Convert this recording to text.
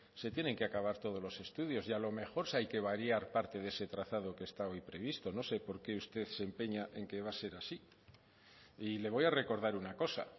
se tienen que acabar todos los estudiar y a lo mejor sí hay que variar parte de ese trazado que está hoy previsto no sé por qué usted se empeña en que va a ser así y le voy a recordar una cosa